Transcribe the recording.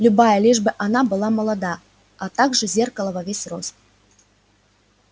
любая лишь бы она была молода а также зеркало во весь рост